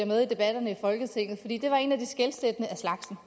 med i debatterne i folketinget fordi det var en af de skelsættende af slagsen